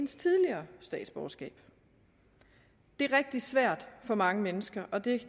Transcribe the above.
tidligere statsborgerskab det er rigtig svært for mange mennesker og det